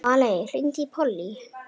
Valey, hringdu í Pollý.